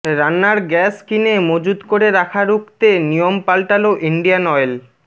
রান্নার গ্য়াস কিনে মজুত করে রাখা রুখতে নিয়ম পাল্টালো ইন্ডিয়ান অয়েল